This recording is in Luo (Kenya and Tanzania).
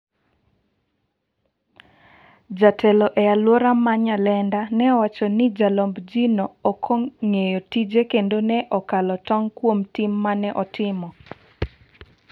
Jatelo e alwora ma Nyalenda ne owacho ni jalomb ji no ok ong'eyo tije kendo ne okalo tong' kuom tim mane otimo.